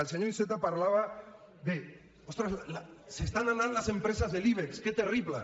el senyor iceta parlava d’ ostres se n’estan anant les empreses de l’ibex que terrible